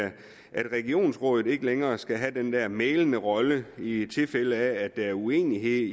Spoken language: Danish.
at regionsrådene ikke længere skal have den der mæglende rolle i tilfælde af at der er uenighed